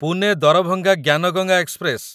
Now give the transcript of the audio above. Pune Darbhanga Gyan Ganga express